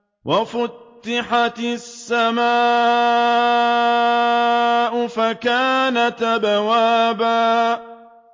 وَفُتِحَتِ السَّمَاءُ فَكَانَتْ أَبْوَابًا